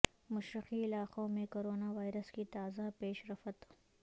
مشرقی علاقوں میں کرونا وائرس کی تازہ پیش رفت